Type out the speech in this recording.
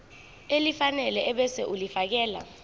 elifanele ebese ulifiakela